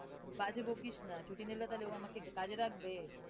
বাজে বকিস না, ছুটি নিলে তাহলে ও আমাকে কাজে রাখবে?